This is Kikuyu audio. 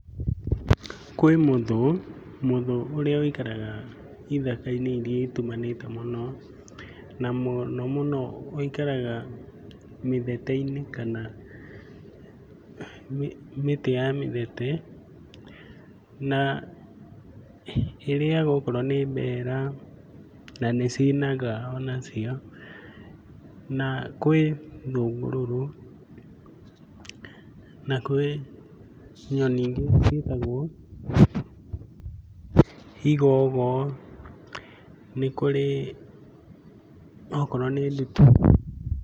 Kwĩ mũthũ, mũthũ ũrĩa wĩikaraga ithaka-inĩ irĩa itumanĩte mũno. Mũno mũno wĩikaraga mĩthete-inĩ kana mĩtĩ ya mĩthete na ĩrĩaga okorwo nĩ mbera, nanĩ cinaga onacio, na kwĩ thũngũrũrũ, na kwĩ nyoni ingĩ ciĩtagwo igogo, nĩ kũrĩ okorwo nĩ ndutura.